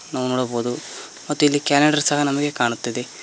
ನಾವು ನೋಡಬಹುದು ಮತ್ತಿಲ್ಲಿ ಕ್ಯಾಲೆಂಡರ್ ಸಹ ನಮಗೆ ಕಾಣುತ್ತಿದೆ.